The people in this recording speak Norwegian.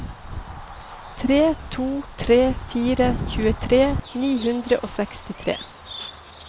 tre to tre fire tjuetre ni hundre og sekstitre